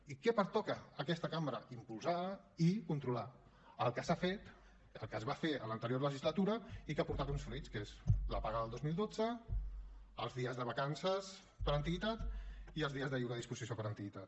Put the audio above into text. i què pertoca a aquesta cambra impulsar i controlar el que s’ha fet el que es va fer a l’anterior legislatura i que ha portat uns fruits que són la paga del dos mil dotze els dies de vacances per antiguitat i els dies de lliure disposició per antiguitat